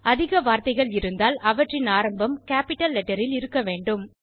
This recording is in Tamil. அதிக வார்த்தைகள் இருந்தால் அவற்றின் ஆரம்பம் கேப்பிட்டல் லெட்டர் ல் இருக்க வேண்டும்